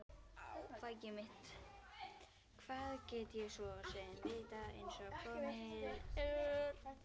Hvað get ég svo sem vitað einsog komið er?